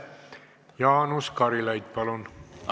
Jaanus Karilaid, palun!